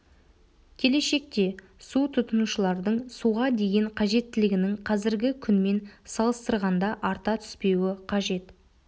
келешекте су тұтынушылардың суға деген қажеттілігінің қазіргі күнмен салыстырғанда арта түспеуі қажет